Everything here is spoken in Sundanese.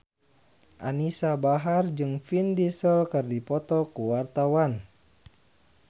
Anisa Bahar jeung Vin Diesel keur dipoto ku wartawan